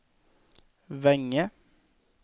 Vänge